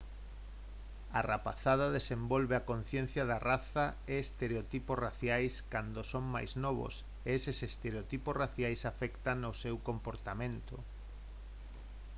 a rapazada desenvolve a conciencia de raza e estereotipos raciais cando son moi novos e eses estereotipos raciais afectan o seu comportamento